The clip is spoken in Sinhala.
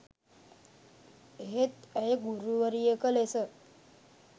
එහෙත් ඇය ගුරුවරියක ලෙස